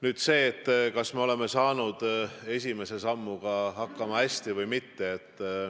Nüüd sellest, kas me oleme saanud esimese sammuga hästi hakkama või mitte.